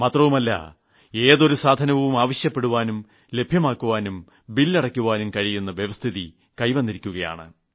മാത്രമല്ല ഏതൊരു സാധനവും ആവശ്യപ്പെടുവാനും ലഭ്യമാക്കുവാനും ബിൽ അടയ്ക്കുവാനും കഴിയുന്ന സ്ഥിതി കൈവന്നിരിക്കുകയാണ്